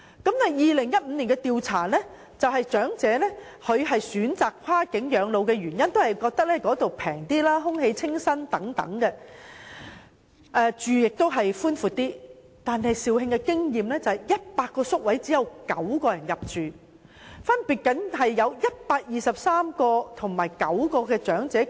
然而 ，2015 年的調查顯示，長者選擇跨境養老的原因是認為內地消費較低廉、空氣清新、院舍較為寬闊，但肇慶院舍的100個宿位中只有9人入住，而深圳院舍亦只有123人入住。